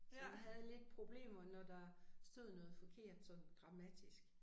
Så jeg havde lidt problemer når der stod noget forkert sådan grammatisk